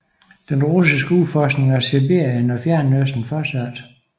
Den russiske udforskning af Sibirien og Fjernøsten fortsatte